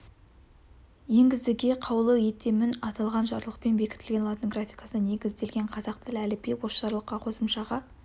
енгізіге қаулы етемін аталған жарлықпен бекітілген латын графикасына негізделген қазақ тілі әліпбиі осы жарлыққа қосымшаға